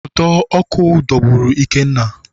Ụdọ ọkụ dọgburu Ikenna